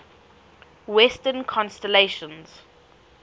western constellations